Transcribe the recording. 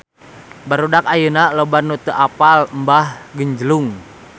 Barudak ayeuna loba nu teu apal Mbah Genjlung